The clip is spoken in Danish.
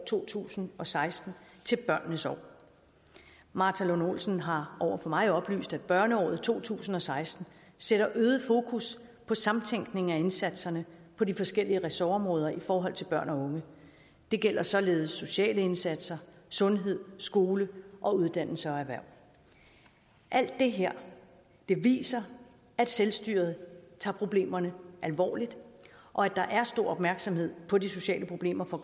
to tusind og seksten til børnenes år martha lund olsen har over for mig oplyst at børneåret to tusind og seksten sætter øget fokus på samtænkning af indsatserne på de forskellige ressortområder i forhold til børn og unge det gælder således sociale indsatser sundhed skole uddannelse og erhverv alt det her viser at selvstyret tager problemerne alvorligt og at der er stor opmærksomhed på de sociale problemer for